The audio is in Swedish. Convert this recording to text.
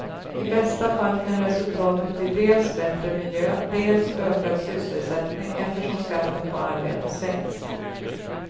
I bästa fall kan resultatet bli dels bättre miljö, dels ökad sysselsättning eftersom skatten på arbete sänks.